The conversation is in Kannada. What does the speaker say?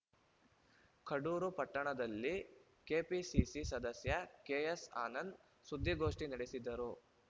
ಕಡೂರು ಪಟ್ಟಣದಲ್ಲಿ ಕೆಪಿಸಿಸಿ ಸದಸ್ಯ ಕೆಎಸ್‌ ಆನಂದ್‌ ಸುದ್ದಿಗೋಷ್ಟಿನಡೆಸಿದರು